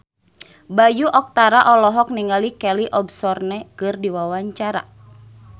Bayu Octara olohok ningali Kelly Osbourne keur diwawancara